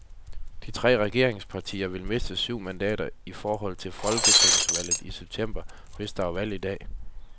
De tre regeringspartier ville miste syv mandater i forhold til folketingsvalget i september, hvis der var valg i dag.